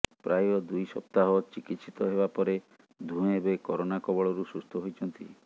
ପ୍ରାୟ ଦୁଇ ସପ୍ତାହ ଚିକିତ୍ସିତ ହେବା ପରେ ଦୁହେଁ ଏବେ କରୋନା କବଳରୁ ସୁସ୍ଥ ହୋଇଛନ୍ତି